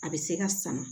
A bɛ se ka sama